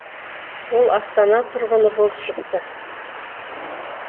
ол астана тұрғыны болып шықты